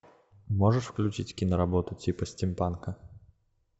можешь включить киноработу типа стимпанка